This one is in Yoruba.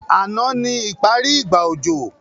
Ànán ni ìbẹ́rẹ́ ìgbà òjò